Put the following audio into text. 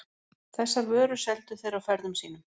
Þessar vörur seldu þeir á ferðum sínum.